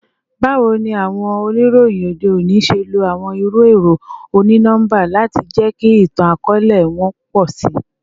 Bawo ni awọn oniroyin ode oni ṣe lo awọn iru ẹrọ oni-nọmba lati jẹki itan-akọọlẹ wọn pọ si?